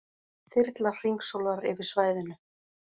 Þyrla hringsólar yfir svæðinu